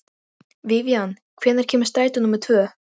Vivian, hvenær kemur strætó númer tvö?